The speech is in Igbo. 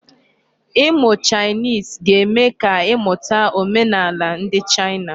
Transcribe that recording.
Ịmụ Chinese ga-eme ka ị mụta omenaala ndị China.